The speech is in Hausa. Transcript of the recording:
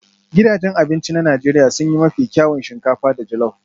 Gidajen abinci na Najeriya sun yi mafi kyawun shinkafa da jollop